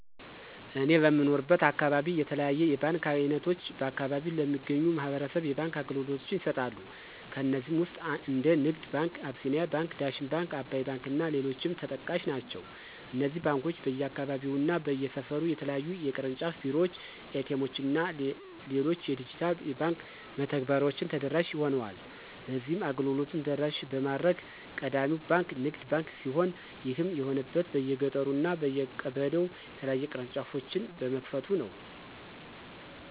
እኔ በምኖርበት አካባቢ የተለያዩ የባንክ አይነቶች በአከባቢው ለሚገኙ ማህበረሰብ የባንክ አገልግሎቶችን ይሰጣሉ። ከነዚህም ውስጥ እንደ ንግድ ባንክ፣ አቢሲኒያ ባንክ፣ ዳሽን ባንክ፣ አባይ ባንክ እና ሌሎችም ተጠቃሽ ናቸው። እነዚህ ባንኮች በየአካባቢው እና በየሰፈሩ የተለያዩ የቅርንጫፍ ቢሮዎች፣ ኤ.ቲ. ኤምዎች እና ሌሎች የዲጂታል የባንክ መተግበሬዎችን ተደራሽ ሆኗል። በዚህም አገልግሎቱን ተደራሽ በማድረግ ቀዳሚው ባንክ ንግድ ባንክ ሲሆን ይህም የሆነበት በየገጠሩ እና በየቀበሌው የተለያዩ ቅርንጫፎችን በመክፈቱ ነው።